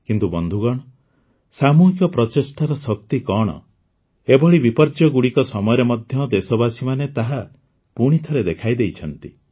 କିନ୍ତୁ ବନ୍ଧୁଗଣ ସାମୁହିକ ପ୍ରଚେଷ୍ଟାର ଶକ୍ତି କଣ ଏଭଳି ବିପର୍ଯ୍ୟୟଗୁଡ଼ିକ ସମୟରେ ମଧ୍ୟ ଦେଶବାସୀମାନେ ତାହା ପୁଣିଥରେ ଦେଖାଇଦେଇଛନ୍ତି